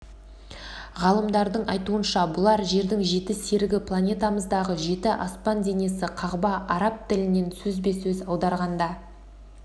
ғалымдардың айтуынша бұлар жердің жеті серігі планетамыздағы жеті аспан денесі қағба араб тілінен сөзбе-сөз аударғанда